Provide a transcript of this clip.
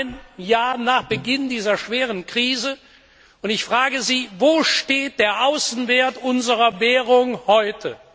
Heute, ein Jahr nach Beginn dieser schweren Krise, frage ich Sie Wo steht der Außenwert unserer Währung heute?